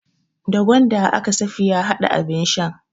Da gwanda aka Safiya hada abin shan.